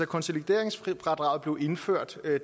konsolideringsfradraget blev indført